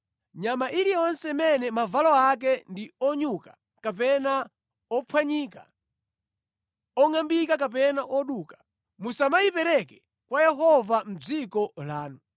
Nyama iliyonse imene mavalo ake ndi onyuka kapena ophwanyika, ongʼambika kapena oduka, musamayipereke kwa Yehova mʼdziko lanu.